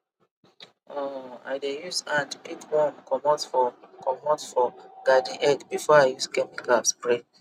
um i dey use hand pick worm comot for comot for garden egg before i use chemical spray